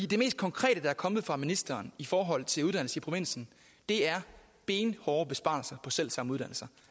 det mest konkrete der er kommet fra ministeren i forhold til uddannelser i provinsen er benhårde besparelser på selv samme uddannelser